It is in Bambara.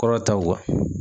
Kɔrɔ taw